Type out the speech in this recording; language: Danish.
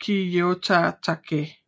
Kiyotake